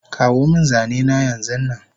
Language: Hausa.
Kawomin zanena yanzunnan